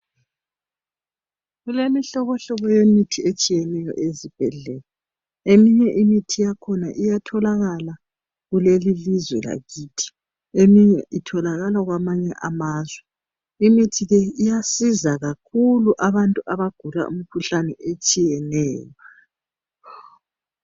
Kulemihlobohlobo yemithi etshiyeneyo ezibhedlela. Eminye imithi yakhona iyatholakala kulelilizwe lakithi. Eminye itholakala kwamanye amazwe. Imithi leyi, iyasiza kakhulu, abantu abagula imikhuhlane, etshiyeneyo.